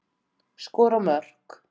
Skora mörk.